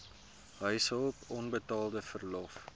huishulp onbetaalde verlof